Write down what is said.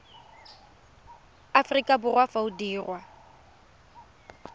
aforika borwa fa o dirwa